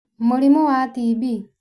Mũrimũ wa TB